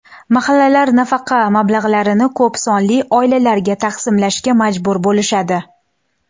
Mahallalar nafaqa mablag‘larini ko‘p sonli oilalarga taqsimlashga majbur bo‘lishadi.